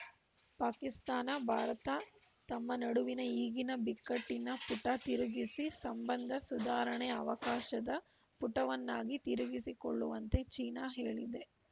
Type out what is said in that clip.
ಪಾಕಿಸ್ತಾನ ಭಾರತ ತಮ್ಮ ನಡುವಿನ ಈಗಿನ ಬಿಕ್ಕಟ್ಟಿನ ಪುಟ ತಿರುಗಿಸಿ ಸಂಬಂಧ ಸುಧಾರಣೆ ಅವಕಾಶದ ಪುಟವನ್ನಾಗಿ ತಿರುಗಿಸಿಕೊಳ್ಳುವಂತೆ ಚೀನಾ ಹೇಳಿದೆ